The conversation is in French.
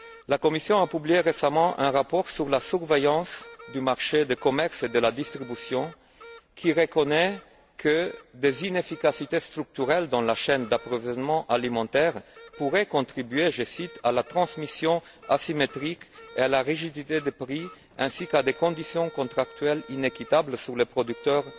La Commission a publié récemment un rapport sur la surveillance du marché du commerce et de la distribution, qui reconnaît que des inefficacités structurelles dans la chaîne d'approvisionnement alimentaire pourraient contribuer à la transmission asymétrique et à la rigidité des prix ainsi qu'à des conditions contractuelles inéquitables pour les producteurs